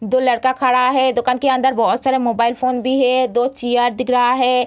दो लड़का खड़ा है दुकान के अंदर बहुत सारे मोबाइल फ़ोन भी है दो चीयर दिख रहा है।